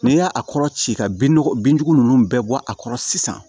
N'i y'a a kɔrɔ ci ka bin bindugu ninnu bɛɛ bɔ a kɔrɔ sisan